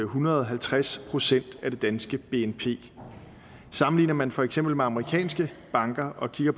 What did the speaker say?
hundrede og halvtreds procent af det danske bnp sammenligner man for eksempel med amerikanske banker og kigger